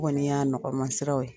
O Kɔni y'a nɔgɔman siraw ye.